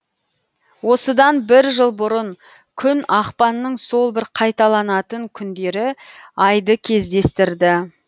осыдан бір жыл бұрын күн ақпанның сол бір қайталанатын күндері айды кездестірді